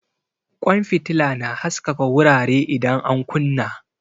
Kwan fitila na haskaka wurare idan an kunna.